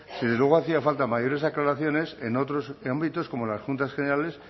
desde luego hacían falta mayores aclaraciones en otros ámbitos como en las juntas generales